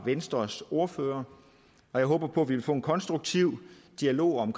venstres ordfører og jeg håber på vi vil få en konstruktiv dialog om